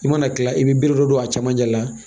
I mana kila i bɛ bere dɔ don a camancɛ la